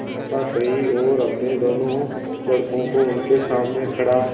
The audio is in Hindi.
कथा कही और अपने दोनों लड़कों को उनके सामने खड़ा